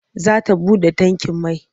Za ta buɗe tankin mai.